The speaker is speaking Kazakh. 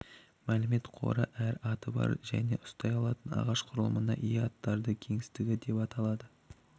мәлімет қоры әр аты бар және ұстай алатын ағаш құрылымына ие аттардың кеңістігі деп аталады